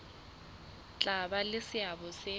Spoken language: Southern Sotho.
tla ba le seabo se